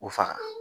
U fa